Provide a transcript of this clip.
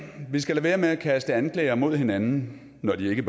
vi skal lade være med at kaste anklager mod hinanden når de ikke